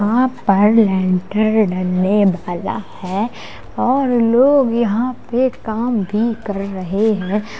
और बाहर लैंटर ढलने वाला है और लोग यहाँ पे काम भी कर रहे हैं।